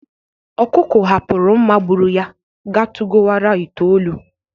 Ọkụkụ hapụrụ mma gbụrụ ya ga tugowara ite olu.